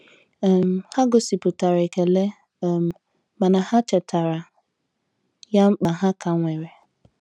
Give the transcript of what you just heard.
um Ha gosipụtara ekele um mana ha chetara ya mkpa ha ka nwere.